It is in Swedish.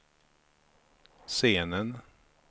scenen